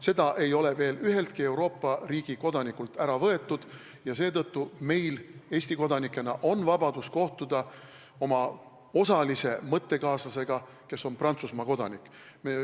Seda ei ole veel üheltki Euroopa riigi kodanikult ära võetud ja seetõttu on meil Eesti kodanikena vabadus kohtuda oma osalise mõttekaaslasega, kes on Prantsusmaa kodanik.